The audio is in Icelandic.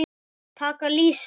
Taka lýsi!